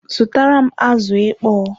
Zutaram azụ ịkpọ!